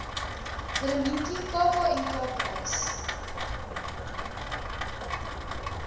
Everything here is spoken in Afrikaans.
willemientjie kknk prys